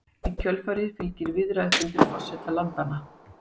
Í kjölfarið fylgir viðræðufundur forseta landanna